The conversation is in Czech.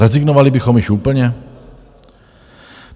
Rezignovali bychom již úplně?